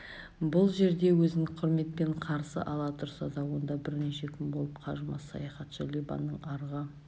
бұл жерде өзін құрметпен қарсы ала тұрса да онда бірнеше күн болып қажымас саяхатшы либаның арғы